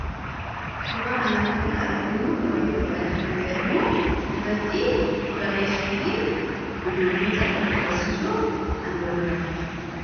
Suuraa kana irratti kan arginu gabatee gurraacha kan jedhamu irratti barreessuu fi ijoolloota irratti barsiisuuf kan nu gargaaruudha.